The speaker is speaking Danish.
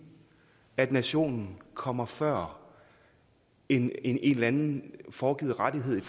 at nationen kommer før en eller anden foregivet rettighed